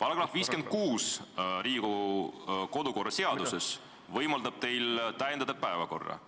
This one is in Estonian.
§ 56 Riigikogu kodukorra seaduses võimaldab teil täiendada päevakorda,